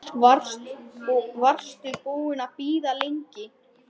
Varstu búin að bíða lengi?